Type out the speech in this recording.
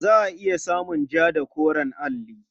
Za a iya samun ja da koren alli.